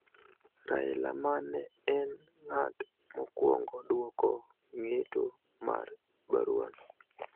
Raila ma ne en ng�at mokwongo dwoko ng'eto mar burano